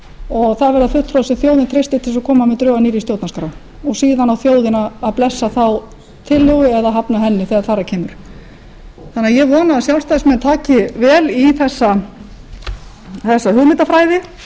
og þar verða fulltrúar sem þjóðin treystir til að koma með drög að nýrri stjórnarskrá og síðan á þjóðin að blessa þá tillögu eða hafna henni þegar þar að kemur ég vona að sjálfstæðismenn taki vel í þessa hugmyndafræði